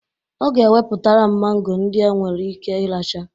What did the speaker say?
Ọ ga eweputa mangoro ndị nke enwere ike iracha